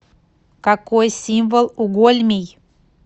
какой символ у гольмий